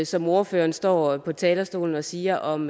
som ordføreren står på talerstolen og siger om